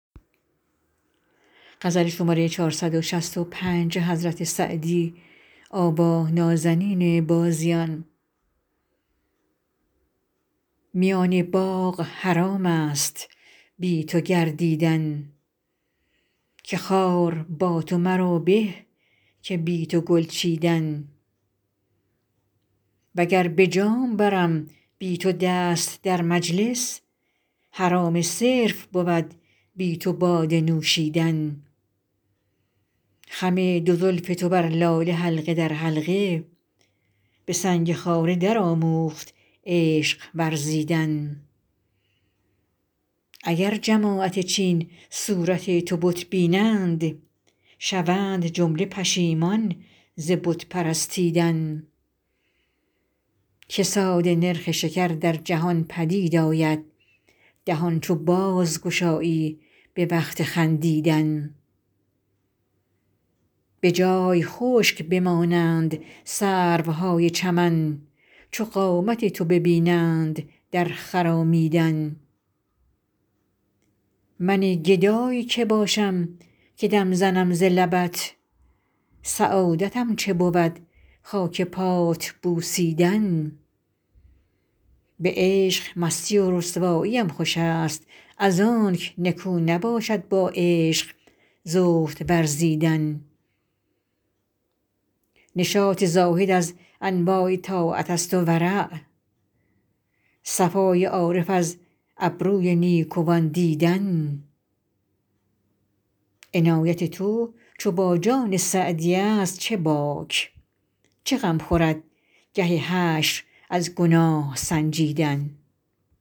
میان باغ حرام است بی تو گردیدن که خار با تو مرا به که بی تو گل چیدن و گر به جام برم بی تو دست در مجلس حرام صرف بود بی تو باده نوشیدن خم دو زلف تو بر لاله حلقه در حلقه به سنگ خاره درآموخت عشق ورزیدن اگر جماعت چین صورت تو بت بینند شوند جمله پشیمان ز بت پرستیدن کساد نرخ شکر در جهان پدید آید دهان چو بازگشایی به وقت خندیدن به جای خشک بمانند سروهای چمن چو قامت تو ببینند در خرامیدن من گدای که باشم که دم زنم ز لبت سعادتم چه بود خاک پات بوسیدن به عشق مستی و رسواییم خوش است از آنک نکو نباشد با عشق زهد ورزیدن نشاط زاهد از انواع طاعت است و ورع صفای عارف از ابروی نیکوان دیدن عنایت تو چو با جان سعدی است چه باک چه غم خورد گه حشر از گناه سنجیدن